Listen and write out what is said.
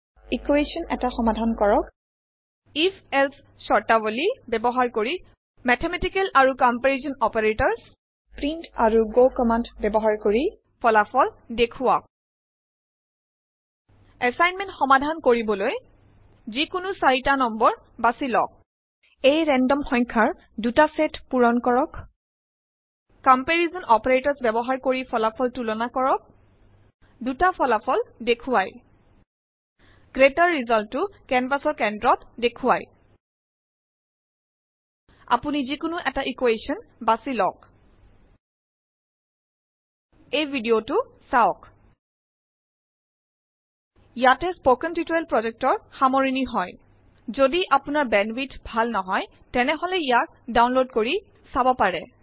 equation এটা সমাধান কৰক আইএফ এলছে স্বৰতাবলী ব্যবহাৰ কৰি মেথমেটিকেল আৰু কম্পাৰিছন অপাৰেটৰ্ছ প্ৰিণ্ট আৰু গ কম্মান্দ ব্যবহাৰ কৰি ফলাফল দেখুৱা এছাইনমেণ্ট সমাধান কৰিবলৈ যিকোনো 4 তা নং বাচি লোৱা এই ৰেন্দম সখয়াৰ দুটা চেত পুৰণ কৰক কম্পাৰিছন অপাৰেটৰ্ছ ব্যৱহাৰ কিৰ ফলাফল তুলনা কৰা দুতা ফলাফল দেখুৱা গ্ৰেটাৰ ৰিজাল্ট টো কেনভাচ ৰ কেন্দ্ৰত দেখুৱাই আপোনি যিকোনো এটা ইকোৱেছন বাছি লওক এই ভিদিওটো চাওক ইয়াতে স্পকেন টিউটৰিয়েল প্ৰজেক্টৰ সামৰিণ হয় যদি আপোনাৰ বেণ্ডৱিডথ ভাল নহয় তেনেহলে ইয়াক ডাউনলোড কৰি চাব পাৰে